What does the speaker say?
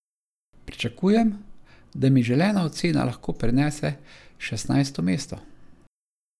Pričakujem, da mi želena ocena lahko prinese šestnajsto mesto.